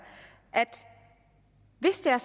hvis det er